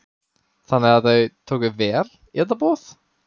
Þannig að þau tóku vel í þetta boð?